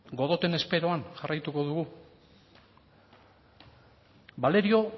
godoten esperoan jarraituko dugu valerio